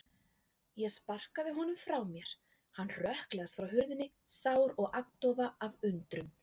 Ég sparkaði honum frá mér, hann hrökklaðist frá hurðinni, sár og agndofa af undrun.